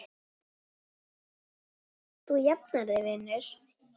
Þú jafnar þig vinur.